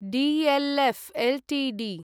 DLF Ltd